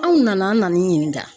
Anw nana an nan'i ɲininka.